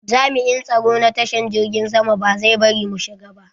Jami'in tsaro na tashar jirgin sama ba zai bari mu shiga ba.